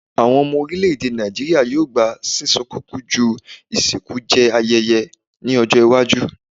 Awọn ọmọ orilẹ-ede Naijiria yoo gba sisun kuku ju isinku jẹ ayẹyẹ ni ọjọ iwaju